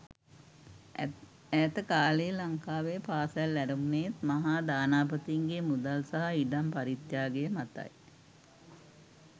ඇත කාලයේ ලංකාවේ පාසල් ඇරඹුනේත් මහා දානපතින්ගේ මුදල් සහ ඉඩම් පරිත්‍යාග මතයි.